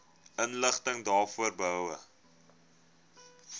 inligting daaroor behoue